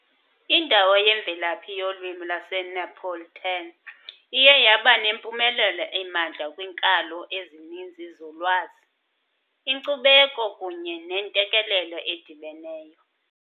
Indawo yemvelaphi yolwimi lwaseNeapolitan, iye yaba nempumelelo emandla kwiinkalo ezininzi zolwazi, inkcubeko kunye nentekelelo edibeneyo .